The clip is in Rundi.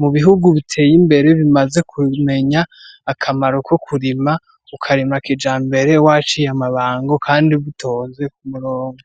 mubihugu biteye imbere bimaze kumenya akamaro ko kurima kijambere waciye amabango Kandi bitonze k'umurongo.